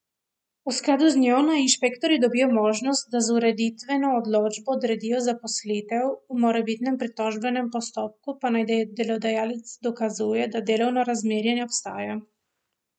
V skladu z njo naj inšpektorji dobijo možnost, da z ureditveno odločbo odredijo zaposlitev, v morebitnem pritožbenem postopku pa naj delodajalec dokazuje, da delovno razmerje ne obstaja.